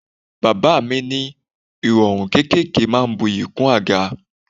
Bàbá mi ní irọrun kéékèèké máa ń bu'yi kún àga.